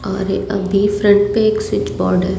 और अभी फ्रंट पे एक स्विच बोर्ड है।